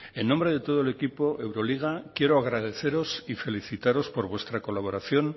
en nombre de todo el equipo euroliga quiero agradeceros y felicitaros por vuestra colaboración